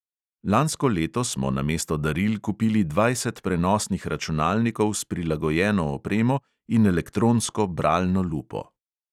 Lansko leto smo namesto daril kupili dvajset prenosnih računalnikov s prilagojeno opremo in elektronsko bralno lupo.